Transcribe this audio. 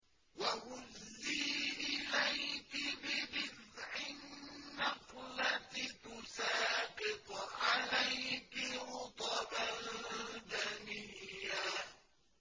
وَهُزِّي إِلَيْكِ بِجِذْعِ النَّخْلَةِ تُسَاقِطْ عَلَيْكِ رُطَبًا جَنِيًّا